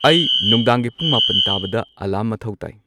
ꯑꯩ ꯅꯨꯡꯗꯥꯡꯒꯤ ꯄꯨꯡ ꯃꯥꯄꯟ ꯇꯥꯕꯗ ꯑꯦꯂꯥꯔꯝ ꯃꯊꯧ ꯇꯥꯏ